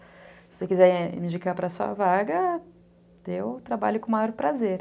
Se você quiser me indicar para a sua vaga, eu trabalho com o maior prazer.